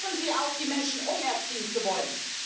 Hören Sie auf, die Menschen umerziehen zu wollen.